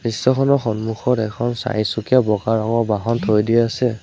দৃশ্যখনৰ সন্মুখত এখন চাৰিচকীয়া বগা ৰঙৰ বহন থৈ দিয়া আছে।